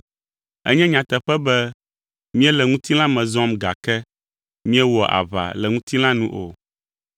Enye nyateƒe be míele ŋutilã me zɔm gake, míewɔa aʋa le ŋutilã nu o.